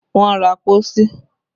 Wọ́n ra pósí